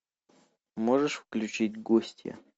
можешь включить гостья